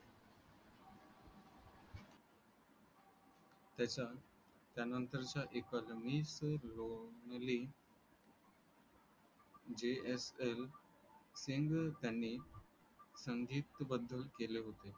त्याचा त्या नंतरच्या एकल Miss Lonely JFL सिंग यांनी संगीतबद्ध केले होते